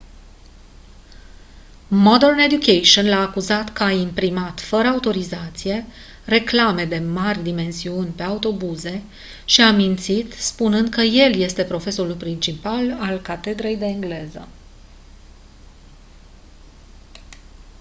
modern education l-a acuzat că a imprimat fără autorizație reclame de mari dimensiuni pe autobuze și a mințit spunând că el este profesorul principal al catedrei de engleză